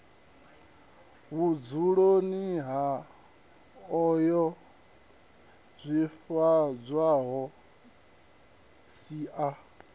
vhudzuloni ha ayoo swifhadzwaho sia